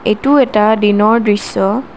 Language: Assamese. এইটো এটা দিনৰ দৃশ্য।